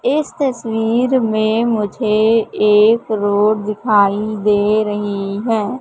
इस तस्वीर में मुझे एक रोड दिखाई दे रही है।